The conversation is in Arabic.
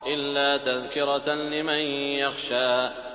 إِلَّا تَذْكِرَةً لِّمَن يَخْشَىٰ